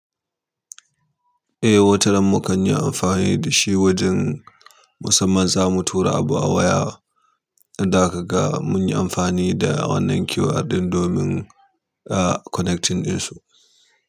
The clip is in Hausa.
Eh, wataran mukan yi amfani da shi wajen musamman zamu tura abu a waya, in da aka ga mun yi amfani da wannan QR ɗin domin, ah, connecting ɗin su.